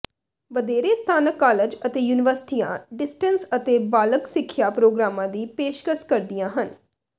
ਵਧੇਰੇ ਸਥਾਨਕ ਕਾਲਜ ਅਤੇ ਯੂਨੀਵਰਸਿਟੀਆਂ ਡਿਸਟੈਨੈਂਸ ਅਤੇ ਬਾਲਗ ਸਿੱਖਿਆ ਪ੍ਰੋਗਰਾਮਾਂ ਦੀ ਪੇਸ਼ਕਸ਼ ਕਰਦੀਆਂ ਹਨ